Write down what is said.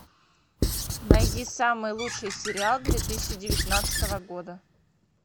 найди самый лучший сериал две тысячи девятнадцатого года